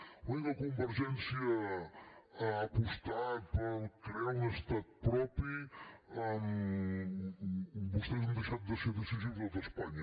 en el moment que convergència ha apostat per crear un estat propi vostès han deixat de ser decisius a tot espanya